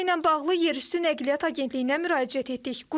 Məsələ ilə bağlı yerüstü Nəqliyyat Agentliyinə müraciət etdik.